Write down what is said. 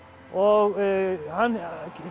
og hann